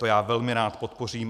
To já velmi rád podpořím.